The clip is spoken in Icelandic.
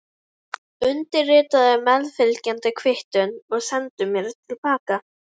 Undirritaðu meðfylgjandi kvittun og sendu mér til baka.